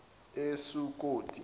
esukoti